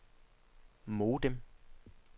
modem